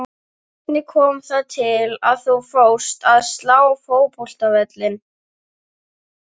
Hvernig kom það til að þú fórst að slá fótboltavelli?